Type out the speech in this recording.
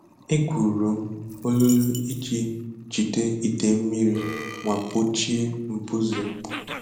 Egwuru m olulu iji jide idei mmiri ma gbochie mbuze.